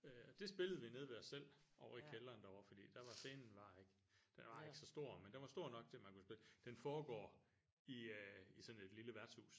Øh og det spillede vi nede ved os selv ovre i kælderen derovre fordi der var scenen var ikke den var ikke så stor men den var stor nok til man kunne spille den foregår i i sådan et lille værtshus